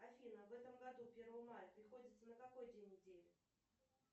афина в этом году первое мая приходится на какой день недели